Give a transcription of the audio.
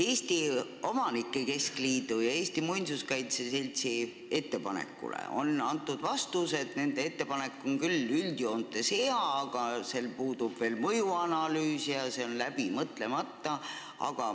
Eesti Omanike Keskliidu ja Eesti Muinsuskaitse Seltsi ettepanekule on antud vastus, et nende ettepanek on küll üldjoontes hea, aga sel puudub mõjuanalüüs ja see on läbi mõtlemata.